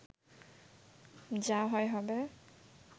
যা হয় হবে